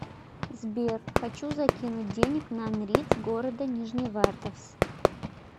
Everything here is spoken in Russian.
сбер хочу закинуть денег на нриц города нижневартовск